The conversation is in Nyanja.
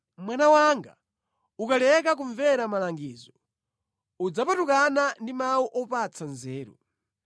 Mwana wanga, ukaleka kumvera malangizo, udzapatukana ndi mawu opatsa nzeru.